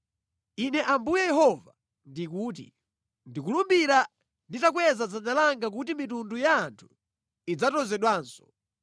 Ine Ambuye Yehova ndikuti: Ndikulumbira nditakweza dzanja langa kuti mitundu ya anthu idzatozedwanso.